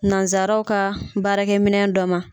Nansaaraw ka baarakɛ minɛ dɔ ma.